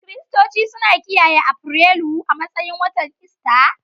Kiristoci suna kiyaye Afrilu a matsayin watan Ista.